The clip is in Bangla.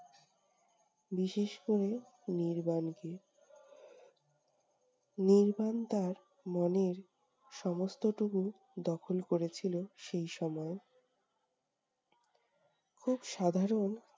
বিশেষ করে নির্বাণকে। নির্বাণ তার মনের সমস্তটুকু দখল করেছিল সেই সময়। খুব সাধারণ